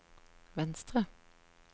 venstre